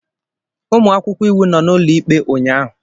Ụmụ akwụkwọ iwu nọ n'ụlọikpe ụnyahụ.